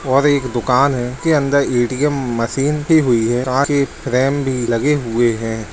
और दुकान है के अंदर ए.टी.एम. मशीन दी हुवी है कांच के फ्रेम भी लगे हुए हैं ।